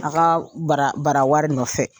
Ala ka bara barawari nɔfɛ